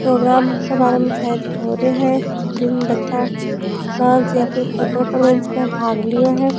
Programme के बारे में शायद हो रेयो है जिसमे बच्चा नाच या कोई परफॉरमेंस में भाग लिया हैं।